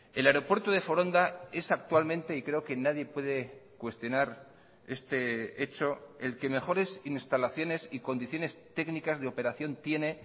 el aeropuerto de foronda es actualmente y creo que nadie puede cuestionar este hecho el que mejores instalaciones y condiciones técnicas de operación tiene